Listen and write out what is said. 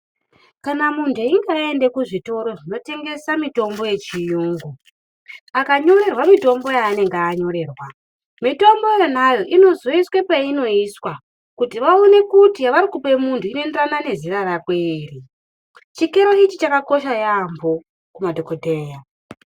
Kana muntu echinge ayenda kizvitoro zvinotengesa mitombo yechiyungu, akanyorerwa mitombo yaanenge anyorerwa mitombo yonayo inozoiswe peinoiswa kuti vaone kuti varikupa muntu inoenderana nezera rako ere. Chikero ichi chakakosha yaambo kumadhokodheya.